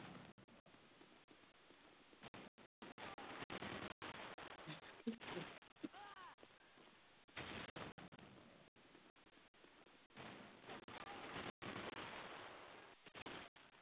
Helga Arnardóttir: Ertu sáttur eða ósáttur við þessa niðurstöðu?